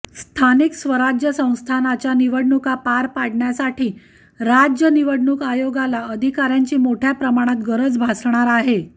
स्थानिक स्वराज्य संस्थांच्या निवडणुका पार पाडण्यासाठी राज्य निवडणूक आयोगाला अधिकाऱयांची मोठय़ा प्रमाणात गरज भासणार आहे